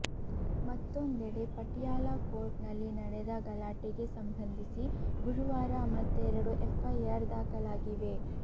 ಮತ್ತೊಂದೆಡೆ ಪಟಿಯಾಲ ಕೋರ್ಟ್ ನಲ್ಲಿ ನಡೆದ ಗಲಾಟೆಗೆ ಸಂಬಂಧಿಸಿ ಗುರುವಾರ ಮತ್ತೆರಡು ಎಫ್ ಐಆರ್ ದಾಖಲಾಗಿವೆ